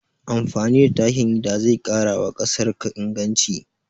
Amfani da takin gida zai ƙarawa ƙasarka inganci